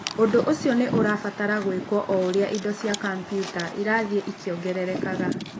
Ũndũ ũcio nĩ ũrabatara gwĩkwo o ũrĩa indo cia kompiuta irathiĩ ikĩongererekaga.